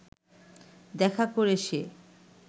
দেখা করে সে